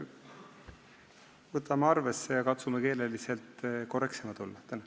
Võtame arvesse ja katsume keeleliselt korrektsemad olla.